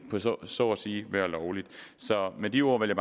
så at sige blive lovligt så med de ord vil